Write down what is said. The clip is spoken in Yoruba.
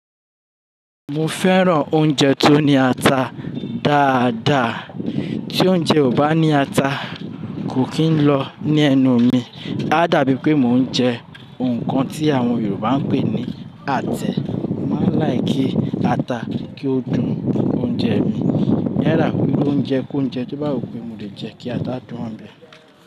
Mo fẹ́ràn oúnjẹ tó ní ata dáadáa. Tí oúnjẹ ò bá ní ata, kò kí ń lọ ní ẹnu mi. Ó dàbí pé mò ń jẹ nnkan tí àwọn Yorùbá ń pè ní "átẹ̀". Mo máa ń like kí ata kí ó dùn oúnjẹ mi. Yálà iru óúnjẹ kóúnjẹ to bá wù pé mo lè jẹ kí ata dùn ọ̀nbẹ̀.